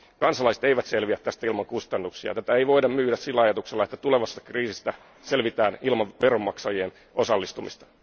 Kansalaiset eivät selviä tästä ilman kustannuksia, ja tätä ei voida myydä sillä ajatuksella, että tulevasta kriisistä selvitään ilman veronmaksajien osallistumista.